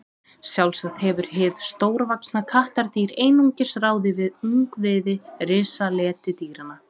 sjálfsagt hefur hið stórvaxna kattardýr einungis ráðið við ungviði risaletidýranna